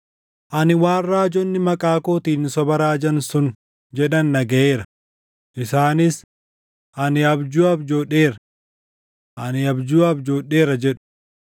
“Ani waan raajonni maqaa kootiin soba raajan sun jedhan dhagaʼeera; isaanis, ‘Ani abjuu abjoodheera! Ani abjuu abjoodheera!’ jedhu.